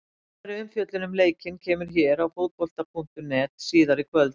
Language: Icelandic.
Nánari umfjöllun um leikinn kemur hér á Fótbolta.net síðar í kvöld.